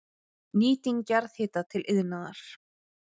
Nýting jarðhita til iðnaðar